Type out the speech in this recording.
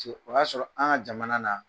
O y'a sɔrɔ an ka jamana na